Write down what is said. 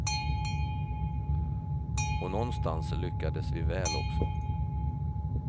Och någonstans lyckades vi väl också.